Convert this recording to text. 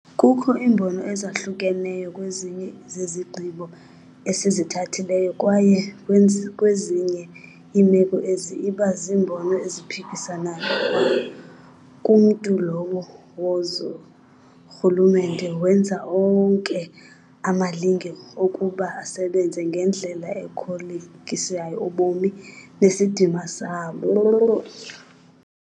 Kukho iimbono ezahlukeneyo kwezinye zezigqibo esizithathileyo - kwaye kwezinye iimeko ezi iba ziimbono eziphikisanayo kwa kumntu lowo wazo - urhulumente wenza onke amalinge okuba asebenze ngendlela ekholekisa ubomi nesidima sabo